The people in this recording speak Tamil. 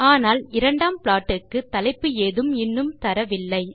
ஆனால் இரண்டாம் ப்ளாட் க்கு தலைப்பு ஏதும் இன்னும் தரவில்லை